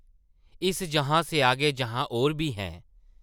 इस जहां से आगे जहां और भी हैं... ।